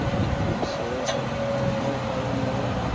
சரி, சரி வர try பன்னி பாக்குற,